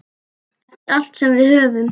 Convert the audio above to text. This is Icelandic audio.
Eftir allt sem við höfum.